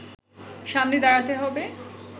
সামনে দাঁড়াতে হবে